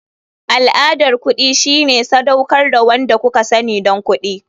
Al'adar kuɗi shine sadaukar da wanda kuka sani don kuɗi.